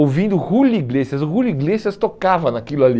Ouvindo o Julio Iglesias, o Julio Iglesias tocava naquilo ali.